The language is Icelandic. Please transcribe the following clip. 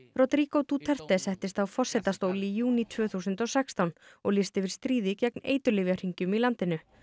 Rodrigo Duterte settist á forsetastól í júní tvö þúsund og sextán og lýsti yfir stríði gegn eiturlyfjahringjum í landinu